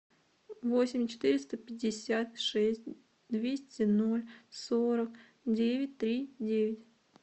восемь четыреста пятьдесят шесть двести ноль сорок девять три девять